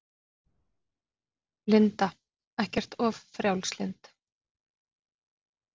Linda: Ekkert of frjálslynd?